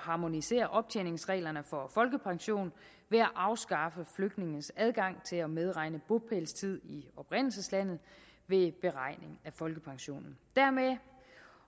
harmonisere optjeningsreglerne for folkepension ved at afskaffe flygtninges adgang til at medregne bopælstid i oprindelseslandet ved beregning af folkepensionen dermed